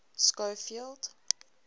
schofield